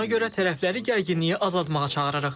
Buna görə tərəfləri gərginliyi azaltmağa çağırırıq.